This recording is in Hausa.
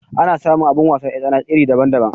Ana samu abin wasar 'yar tsana iri daban daban